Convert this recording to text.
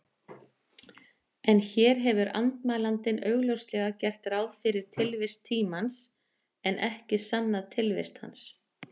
En hér hefur andmælandinn augljóslega gert ráð fyrir tilvist tímans, en ekki sannað tilvist hans.